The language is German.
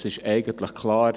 Es ist eigentlich klar: